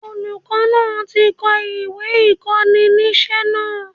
Olùkó náà ti ko ìwé ìkóninísé náà